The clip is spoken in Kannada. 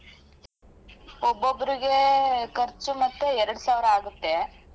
ಒಬ್ಬೊಬ್ರಿಗೆ ಖರ್ಚು ಮತ್ತೇ ಎರಡು ಸಾವ್ರ ಆಗುತ್ತೆ.